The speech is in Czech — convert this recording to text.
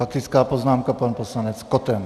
Faktická poznámka pan poslanec Koten.